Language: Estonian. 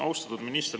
Austatud minister!